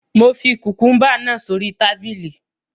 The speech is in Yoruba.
Mo fi kùkùúmbà náà sórí tábìlì